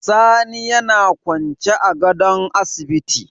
Sani yAna kwance a gadon asibiti